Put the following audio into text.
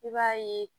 I b'a ye